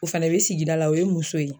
O fɛnɛ bɛ sigida la o ye muso ye.